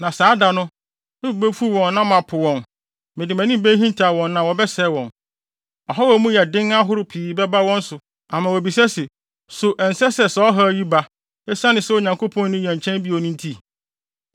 Na saa da no, me bo befuw wɔn na mapo wɔn; mede mʼanim behintaw wɔn na wɔbɛsɛe wɔn. Ɔhaw a emu yɛ den ahorow pii bɛba wɔn so ama wɔabisa se, ‘So ɛnsɛ sɛ saa ɔhaw yi ba, esiane sɛ Onyankopɔn nni yɛn nkyɛn bio no nti?’